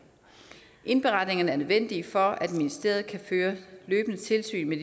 indberetningerne er nødvendige for at ministeriet kan føre løbende tilsyn med